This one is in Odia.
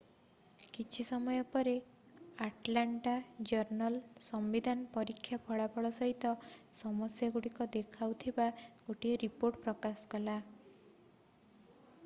କିଛି ସମୟ ପରେ ଆଟଲାଣ୍ଟା ଜର୍ନଲ୍-ସମ୍ବିଧାନ ପରୀକ୍ଷା ଫଳାଫଳ ସହିତ ସମସ୍ୟାଗୁଡ଼ିକୁ ଦେଖାଉଥିବା ଗୋଟିଏ ରିପୋର୍ଟ ପ୍ରକାଶ କଲା